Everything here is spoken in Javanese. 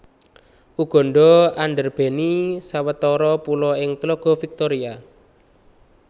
Uganda andarbèni sawetara pulo ing tlaga Victoria